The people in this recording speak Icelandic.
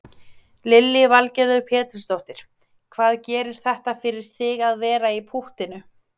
Lillý Valgerður Pétursdóttir: Hvað gerir þetta fyrir þig að vera í púttinu?